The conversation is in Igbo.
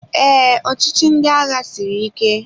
Ee, ọchịchị ndị agha siri ike